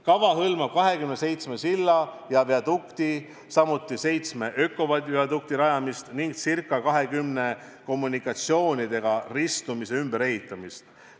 Kava hõlmab 27 silla ja viadukti, samuti seitsme ökoviadukti rajamist ning ca 20 kommunikatsioonidega ristumise koha ümberehitamist.